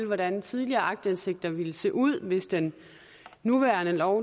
hvordan tidligere aktindsigter ville se ud hvis den nuværende lov